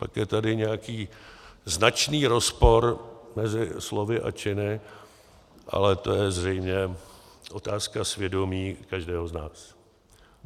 Pak je tady nějaký značný rozpor mezi slovy a činy, ale to je zřejmě otázka svědomí každého z nás.